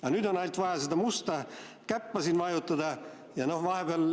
Aga nüüd on ainult vaja seda musta käppa siin vajutada.